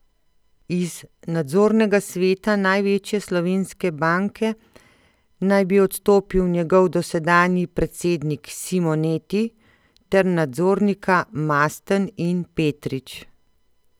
Iz nadzornega sveta največje slovenske banke naj bi odstopili njegov dosedanji predsednik Simoneti ter nadzornika Masten in Petrič.